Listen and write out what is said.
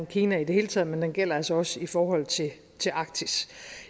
kina i det hele taget men det gælder altså også i forhold til arktis